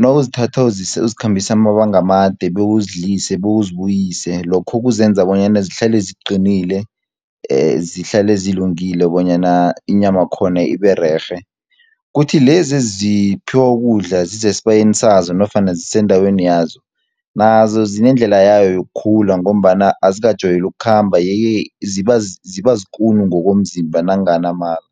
nawukuzithatha uzikhambisa amalanga amade, bewuzidlise, bewuzibuyise lokho kuzenza bonyana zihlale ziqinile, zihlale zilungile bonyana inyama yakhona ibe rerhe. Kuthi lezi eziphiwa ukudla zisesibayeni sazo nofana zisendaweni yazo, nazo zinendlela yayo yokukhula, ngombana azikajwayeli ukukhamba ye-ke ziba zikulu ngokomzimba nanginganamala